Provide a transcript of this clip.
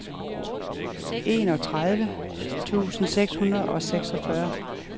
enogtredive tusind seks hundrede og seksogfyrre